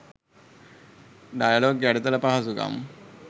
dialogue යටිතල පහසුකම්